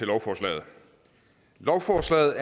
lovforslaget lovforslaget